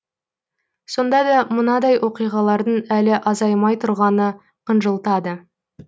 сонда да мынадай оқиғалардың әлі азаймай тұрғаны қынжылтады